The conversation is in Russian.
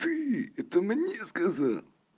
ты это мне сказал